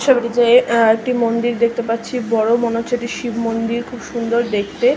ছবিটিতে যে একটি এ মন্দির দেখতে পারছি বড় মনে হচ্ছে এটি শিব মন্দির খুব সুন্দর দেখতে--